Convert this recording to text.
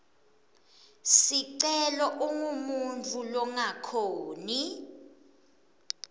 sicelo ungumuntfu longakhoni